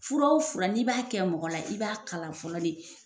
Fura o fura n'i b'a kɛ mɔgɔ la i b'a kalan fɔlɔ de.